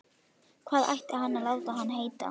Hvað ætti hann að láta hann heita?